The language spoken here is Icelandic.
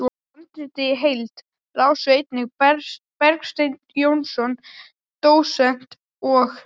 Handritið í heild lásu einnig Bergsteinn Jónsson dósent og